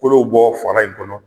Kolow bɔ fara in kɔnɔ